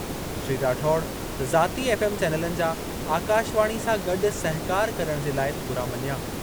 श्री राठौड़ ज़ाती एफ़एम चैनलनि जा आकाशवाणी सां गॾु सहिकार करणु जे लाइ थोरा मञिया।